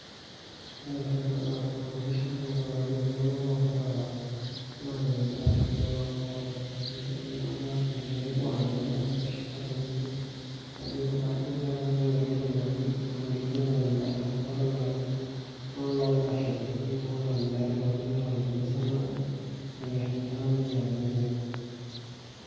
Wore entoki nagira aasa tena pisha naa kadolita ajo iltunganak loogira anya endaa ashu loogira atoni tenebo anya endaa, neshipa tenebo kajo ketaa enkiti toki naji family gathering paye amu kadolita ajo iltunganak loogira ashipa esidai, negira aatoni tiatua aji, negira aatoni temisa nabo, neyier endaa nenya tenebo.